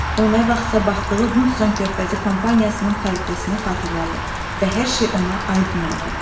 O nə vaxtsa baxdığı Hudsons körfəzi kompaniyasının xəritəsini xatırladı və hər şey ona aydın oldu.